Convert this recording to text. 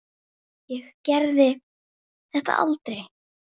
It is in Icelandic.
Nei, enginn